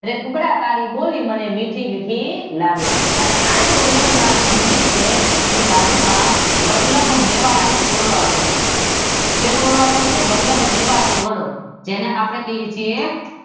રે કૂકડાં તારી બોલી મને મીઠી મીઠી લાગે. અને આ જ બહુચર માનું મંદિર છે તેની બાજુમાં વલ્લભ મેવાડા નો ઓરડો આવેલો છે. શેનો ઓરડો આવેલો છે? વલ્લભ મેવાડા નો જેને આપદે કહીએ છીએ